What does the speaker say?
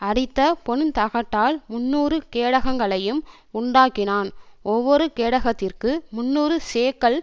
அடித்த பொன்தகட்டால் முந்நூறு கேடகங்களையும் உண்டாக்கினான் ஒவ்வொரு கேடகத்திற்கு முந்நூறு சேக்கல்